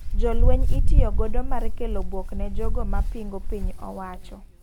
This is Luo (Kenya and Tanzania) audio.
Jolweny itiyo godo mar kelo buok ne jogoma pingo piny owacho.